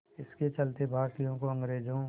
इसके चलते भारतीयों को अंग्रेज़ों